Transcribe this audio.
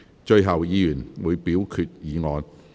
最後，議員會表決議案。